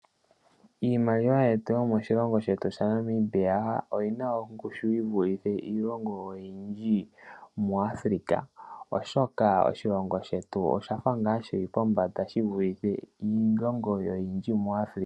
Iimaliwa yetu yomoshilongo shetu sha Namibia oyi na ongushu yi vulithe iilongo oyindji mu Africa, oshoka oshilongo shetu osha fa ngaa shi li pombanda shi vulithe iilongo oyindji mu Africa.